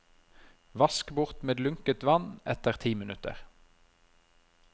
Vask bort med lunkent vann etter ti minutter.